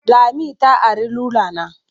Lami ta ari rula na.